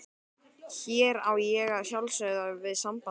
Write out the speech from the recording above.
Hér á ég að sjálfsögðu við samband okkar.